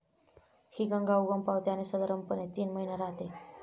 हि गंगा उगम पावते आणि साधारणपणे तीन महिने राहते.